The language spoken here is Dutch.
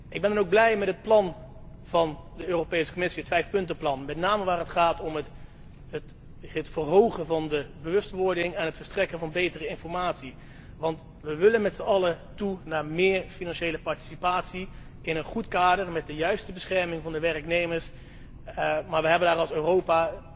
Ik ben dan ook blij met het plan van de Europese Commissie, het vijfpuntenplan, met name waar het gaat om het verhogen van de bewustwording en het verstrekken van betere informatie, want we willen met z'n allen toe naar meer financiële participatie in een goed kader met adequate bescherming van de werknemers, maar we hebben daar als Europa,